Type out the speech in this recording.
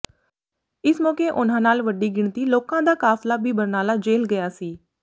ਇਸ ਮੌਕੇ ਉਨ੍ਹਾਂ ਨਾਲ ਵੱਡੀ ਗਿਣਤੀ ਲੋਕਾਂ ਦਾ ਕਾਫ਼ਲਾ ਵੀ ਬਰਨਾਲਾ ਜੇਲ੍ਹ ਗਿਆ ਸੀ